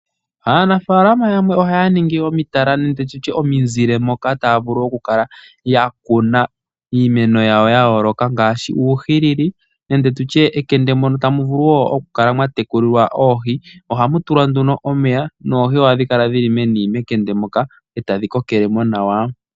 Aanafaalama yamwe ohaya ningi omitala nenge omizile moka taya vulu okukala yakuna iimeno yayo yayooloka ngaashi uuhilili nenge tutye ekende mono hamu vulu okutekulilwa oohi ohamu tulwa omeya noohi ohadhi kala meni etadhi kokele mo nawa.